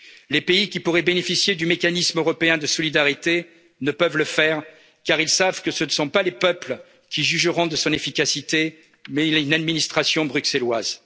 profitable. Les pays qui pourraient bénéficier du mécanisme européen de solidarité ne peuvent le faire car ils savent que ce ne sont pas les peuples qui jugeront de son efficacité mais une administration